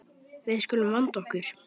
Við skulum vanda okkur.